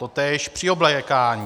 Totéž při oblékání.